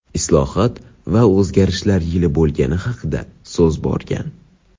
islohot va o‘zgarishlar yili bo‘lgani haqida so‘z borgan.